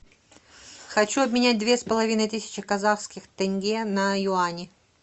хочу обменять две с половиной тысячи казахских тенге на юани